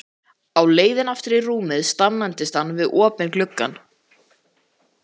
Á leiðinni aftur í rúmið staðnæmdist hann við opinn gluggann.